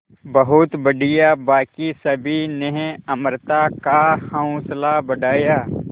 बहुत बढ़िया बाकी सभी ने अमृता का हौसला बढ़ाया